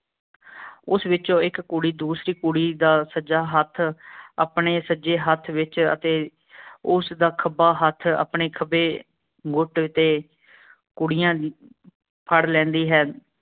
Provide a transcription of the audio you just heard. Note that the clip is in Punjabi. ਉਸ ਵਿਚੋਂ ਇਕ ਕੁੜੀ ਦੂਸਰੀ ਕੁੜੀ ਦਾ ਸੱਜਾ ਹੱਥ ਅਪਣੇ ਸੱਜੇ ਹੱਥ ਵਿਚ ਅਤੇ ਉਸਦਾ ਖਬਾ ਹੱਥ ਆਪਣੈ ਖਬੀ ਤੇ ਕੁੜੀਆਂ ਫੜ ਲੈਂਦੀ ਹੈ।